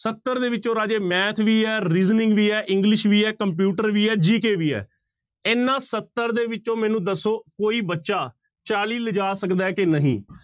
ਸੱਤਰ ਦੇ ਵਿੱਚੋਂ ਰਾਜੇ math ਵੀ ਹੈ reasoning ਵੀ ਹੈ english ਵੀ ਹੈ computer ਵੀ ਹੈ GK ਵੀ ਹੈ, ਇਹਨਾਂ ਸੱਤਰ ਦੇ ਵਿੱਚੋਂ ਮੈਨੂੰ ਦੱਸੋ ਕੋਈ ਬੱਚਾ ਚਾਲੀ ਲਿਜਾ ਸਕਦਾ ਹੈ ਕਿ ਨਹੀਂ।